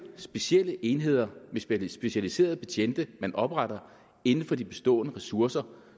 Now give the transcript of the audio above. specielle enheder med specialiserede betjente man opretter inden for de bestående ressourcer